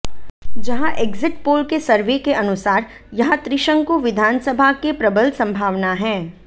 जंहा exit poll के survey के अनुसार यहां त्रिशंकु विधानसभा के प्रबल संभावना हैं